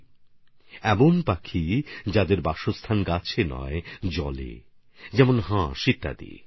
এটা এমন পাখি যারা গাছে থাকে না জলে থাকে যেমন হাঁস ইত্যাদির মত